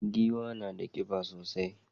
Giwa na da kiba sosai.